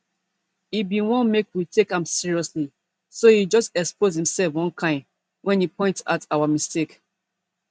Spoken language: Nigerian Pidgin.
e bin wan make we take am seriously so e just expose imself one kain wen e point out our mistake